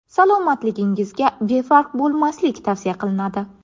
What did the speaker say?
salomatligingizga befarq bo‘lmaslik tavsiya qilinadi.